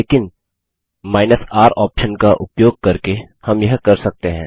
लेकिन R option का उपयोग करके हम यह कर सकते हैं